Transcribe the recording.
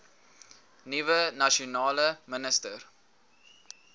nuwe nasionale minister